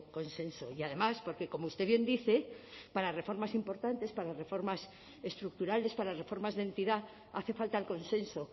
consenso y además porque como usted bien dice para reformas importantes para las reformas estructurales para las reformas de entidad hace falta el consenso